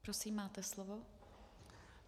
Prosím, máte slovo.